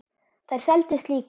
Þær seldust líka.